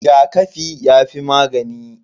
Rigakafi yafi magani.